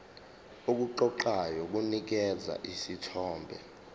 okuqoqayo kunikeza isithombe